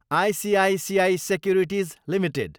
ICICI Securities Ltd